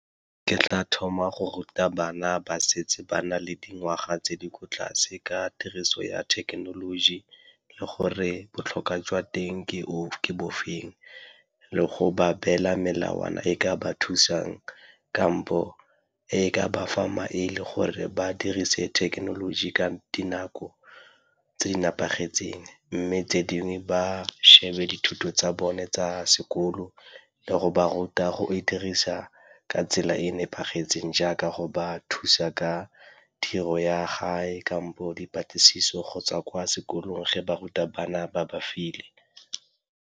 Ke tla thoma go ruta bana ba setse ba na le dingwaga tse di ko tlase ka tiriso ya thekenoloji le gore botlhokwa jwa teng ke bofeng. Le go ba beela melawana e ka ba thusang kampo e ka bafa maele gore ba dirise thekenoloji ka dinako tse di nepagetseng, mme tse dingwe ba shebe dithuto tsa bone tsa sekolo le go ba ka go e dirisa ka tsela e e nepagetseng jaaka go ba thusa ka tiro ya gae kampo dipatlisiso kgotsa kwa sekolong ge ba ruta bana ba bafe dilo.